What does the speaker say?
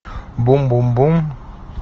бум бум бум